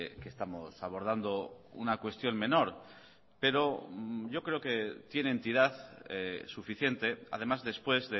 que estamos abordando una cuestión menor pero yo creo que tiene entidad suficiente además después